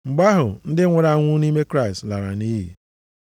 Mgbe ahụ ndị nwụrụ anwụ nʼime Kraịst lara nʼiyi.